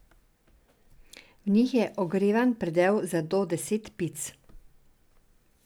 V njih je ogrevan predel za do deset pic.